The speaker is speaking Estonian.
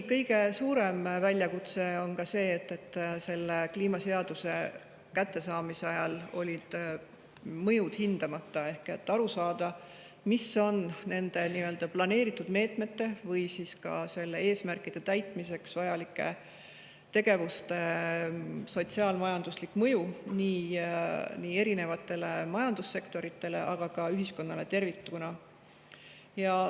Kõige suurem väljakutse oli see, et siis, kui me kliimaseaduse kätte saime, olid mõjud hindamata, aru saada, mis on nende planeeritud meetmete või ka nende eesmärkide täitmiseks vajalike tegevuste sotsiaal-majanduslik mõju erinevatele majandussektoritele, aga ka ühiskonnale tervikuna.